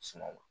Suman